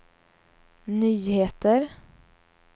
nyheter